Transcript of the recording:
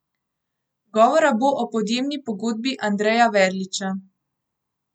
Govora bo o podjemni pogodbi Andreja Verliča.